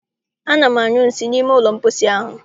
Ana m anyụ nsị n'ime ụlọ mposi ahụ.